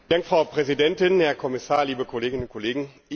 Frau Präsidentin, Herr Kommissar, liebe Kolleginnen und Kollegen!